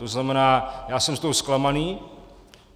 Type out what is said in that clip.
To znamená, já jsem z toho zklamaný.